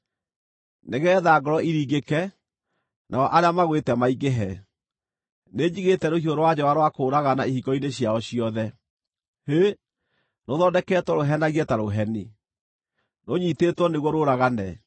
Nĩgeetha ngoro iringĩke, nao arĩa magwĩte maingĩhe, nĩnjigĩte rũhiũ rwa njora rwa kũũragana ihingo-inĩ ciao ciothe. Hĩ! Rũthondeketwo rũhenagie ta rũheni, rũnyiitĩtwo nĩguo rũũragane.